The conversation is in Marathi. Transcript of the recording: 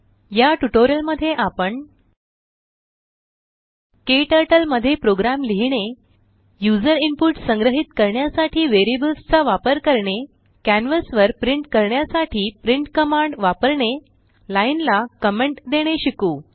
या ट्यूटोरियल मध्ये आपण क्टर्टल मध्ये प्रोग्राम लिहीणे यूज़र इनपुट संग्रहीत करण्यासाठी वेरियबल्स चा वापर करणे कॅन्वस वर प्रिंट करण्यासाठी प्रिंट कमांड वापरणे लाइन ला कमेंट देणे शिकू